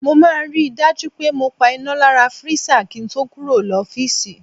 Mo máa ń ri dájú pé mo pa iná lára freezer kí ń to kúrò l'ofiisi.